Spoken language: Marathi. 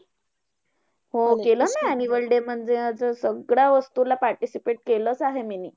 हो केलं ना annual day मध्ये. असं सगळ्या वस्तूला participate केलंच आहे मीनी.